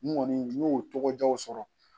N kɔni n y'o tɔgɔ di aw sɔrɔ